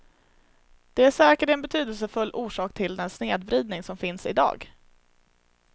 Det är säkert en betydelsefull orsak till den snedvridning som finns idag.